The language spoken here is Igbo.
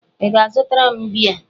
Ị ga-azụtara m bíá?